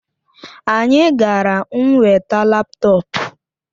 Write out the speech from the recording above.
Anyị gara nweta laptọọpụ